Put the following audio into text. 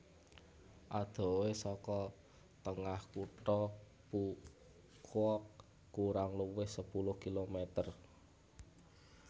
Adohé saka tengah kutha Phu Quoc kurang luwih sepuluh kilometer